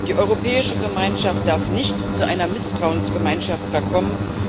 Die Europäische Gemeinschaft darf nicht zu einer Misstrauensgemeinschaft verkommen.